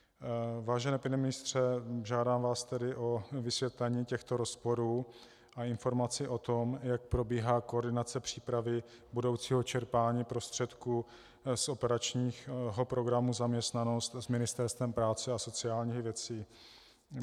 Vážený pane ministře, žádám vás tedy o vysvětlení těchto rozporů a informaci o tom, jak probíhá koordinace přípravy budoucího čerpání prostředků z operačního programu Zaměstnanost s Ministerstvem práce a sociálních věcí.